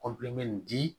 di